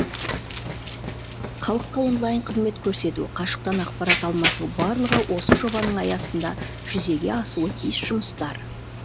халыққа онлайн қызмет көрсету қашықтан ақпарат алмасу барлығы осы жобаның аясында жүзеге асуы тиіс жұмыстар